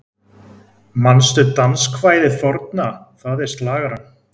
Manstu danskvæðið forna, það er slagarann